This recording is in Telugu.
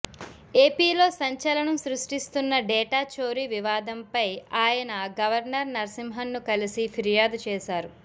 ఏపీలో సంచలనం సృష్టిస్తున్న డేటా చోరీ వివాదంపై ఆయన గవర్నర్ నరసింహన్ను కలసి ఫిర్యాదు చేశారు